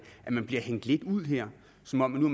bliver hængt ud her som om de nu